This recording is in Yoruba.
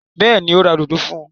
Bẹ́ẹ̀ni, ó ra òdodo fún un.